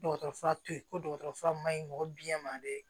Dɔgɔtɔrɔ fura to yen ko dɔgɔtɔrɔ fura man ɲi mɔgɔ biyɛn ma dɛ